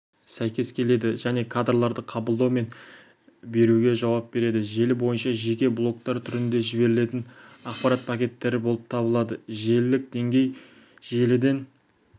сәйкес келеді және кадрларды қабылдау мен беруге жауап береді желі бойынша жеке блоктар түрінде жіберілетін ақпарат пакеттері болып табылады желілік деңгей желіден